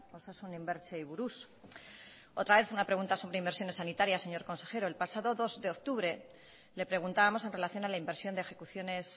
osasun inbertsioei buruz otra vez una pregunta sobre inversiones sanitarias señor consejero el pasado dos de octubre le preguntábamos en relación a la inversión de ejecuciones